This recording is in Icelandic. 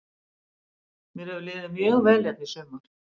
Mér hefur liðið mjög vel hérna í sumar.